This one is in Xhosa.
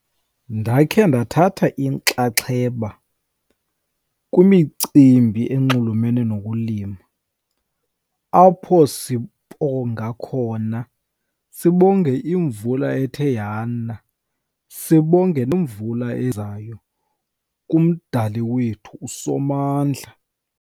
Ndakhe ndathatha inxaxheba kwimicimbi enxulumene nokulima, apho sibonga khona, sibonge imvula ethe yana, sibonge nemvula ezayo kuMdali wethu uSomandla.